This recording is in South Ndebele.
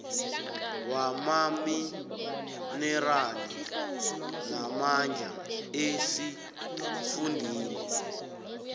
wamaminerali namandla esifundeni